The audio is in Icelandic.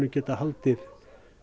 getum haldið